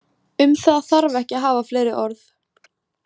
Um það þarf ekki að hafa fleiri orð.